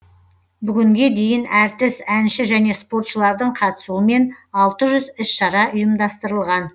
бүгінге дейін әртіс әнші және спортшылардың қатысуымен алты жүз іс шара ұйымдастырылған